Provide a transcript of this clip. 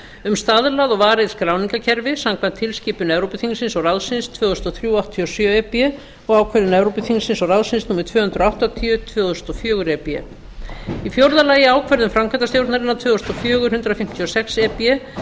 um stað og varið skráningarkerfi samkvæmt tilskipun evrópuþingsins og ráðsins tvö þúsund og þrjú áttatíu og sjö e b og ákvörðun evrópuþingsins og ráðsins númer tvö hundruð áttatíu tvö þúsund og fjögur e b fjórða ákvörðun framkvæmdastjórnarinnar tvö þúsund og fjögur hundrað fimmtíu og sex e b